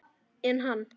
En hann!